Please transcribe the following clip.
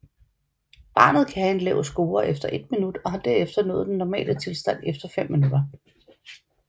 Barnet kan have en lav score efter 1 minut og har derefter nået den normale tilstand efter 5 minutter